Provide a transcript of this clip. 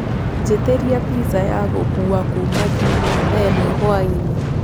njitiria pizza ya gukũũwa kũma jumia thaaĩmwe hwaĩnĩ